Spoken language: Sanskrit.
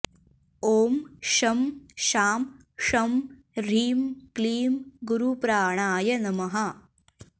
ॐ शं शां षं ह्रीं क्लीं गुरुप्राणाय नमः